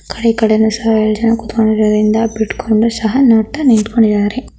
ಆ ಕಡೆ ಈ ಕಡೆನೂ ಸಹ ಎರಡು ಕೂತ್ಕೊಂಡಿರೋದ್ರಿಂದ ಬಿಟ್ಕೊಂಡು ಸಹ ನೋಡ್ತಾ ನಿಂತಿದ್ದಾರೆ.